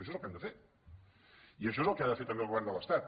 això és el que hem de fer i això és el que ha de fer també el govern de l’estat